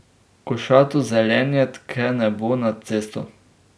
Košato zelenje tke nebo nad cesto.